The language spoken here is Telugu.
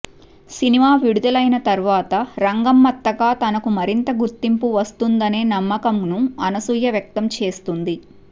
సినిమా విడుదలైన తర్వాత రంగమ్మత్తగా తనకు మరితం గుర్తింపు వస్తుందనే నమ్మకంను అనసూయ వ్యక్తం చేస్తుంది